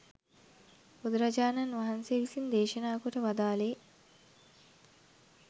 බුදුරජාණන් වහන්සේ විසින් දේශනා කොට වදාළේ